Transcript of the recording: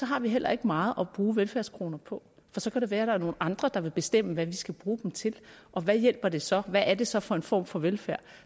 har vi heller ikke meget at bruge velfærdskroner på for så kan det være at der er nogle andre der vil bestemme hvad vi skal bruge dem til og hvad hjælper det så hvad er det så for en form for velfærd